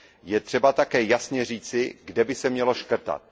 je třeba také jasně říci, kde by se mělo škrtat.